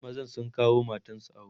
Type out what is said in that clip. mazan sun kawo matansu awo